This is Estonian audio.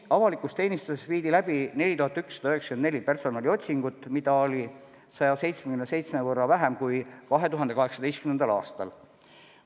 Avalikus teenistuses viidi läbi 4194 personaliotsingut, mida oli 177 võrra vähem kui 2018. aastal.